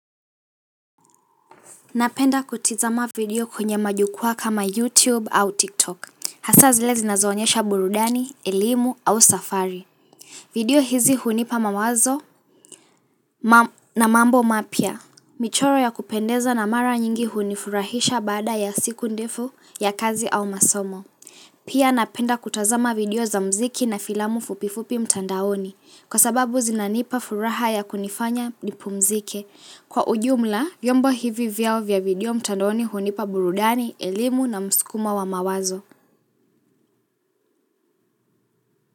Napenda kutizama video kwenye majukua kama YouTube au TikTok. Hasa zile zinazoonyesha burudani, elimu au safari. Video hizi hunipa mawazo na mambo mapia. Michoro ya kupendeza na mara nyingi hunifurahisha bada ya siku ndefu ya kazi au masomo. Pia napenda kutazama video za mziki na filamu fupifupi mtandaoni. Kwa sababu zinanipa furaha ya kunifanya nipu mzike. Kwa ujumla, vyombo hivi vyao vya video mtandoni hunipa burudani, elimu na mskuma wa mawazo.